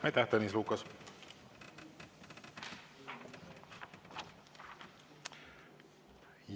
Aitäh, Tõnis Lukas!